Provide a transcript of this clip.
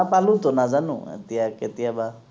নাপালো তো নাজানো এতিয়া কেতিয়াবা